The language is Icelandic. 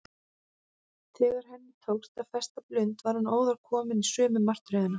Þegar henni tókst að festa blund var hún óðar komin í sömu martröðina.